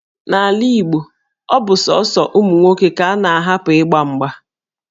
N'ala Igbo, ọ bụ sọsọ ụmụ nwoke ka a na-ahapụ ịgba mgba